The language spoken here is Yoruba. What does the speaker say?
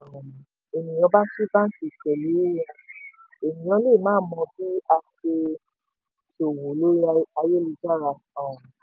tí um ènìyàn bá ṣí báńkì pẹ̀lú wón ènìyàn lè má mo bí a se ṣòwò lori ayélu-jára um